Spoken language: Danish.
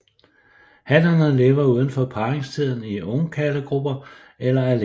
Hannerne lever uden for parringstiden i ungkarlegrupper eller alene